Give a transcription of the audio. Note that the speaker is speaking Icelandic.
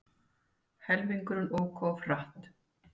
Helmingurinn ók of hratt